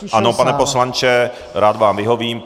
Ano, pane poslanče, rád vám vyhovím.